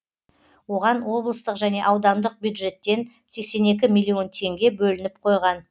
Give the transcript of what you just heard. оған облыстық және аудандық бюджеттен сексен екі миллион теңге бөлініп қойған